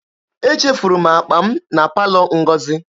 Echefuru m akpa m na palọ Ngozi.